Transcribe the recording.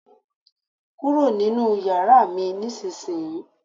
Kúrò nínú yàrá mi nísinsìnyí!